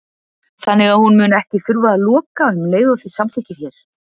Þannig að hún mun ekki þurfa að loka um og leið og þið samþykkið hér?